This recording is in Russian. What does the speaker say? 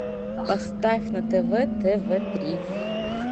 поставь на тв тв три